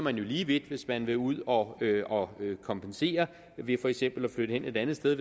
er lige vidt hvis man vil ud og og kompensere ved for eksempel at flytte et andet sted